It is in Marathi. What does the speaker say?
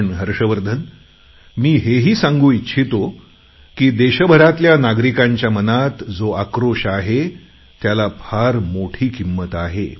पण हर्षवर्धन मी हेही सांगू इच्छितो की देशभरातल्या नागरिकांच्या मनात जी उद्विग्नता आहे त्याला फार मोठी किंमत आहे